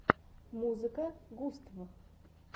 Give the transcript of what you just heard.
музыка густв